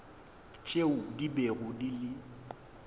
tšeo di bego di le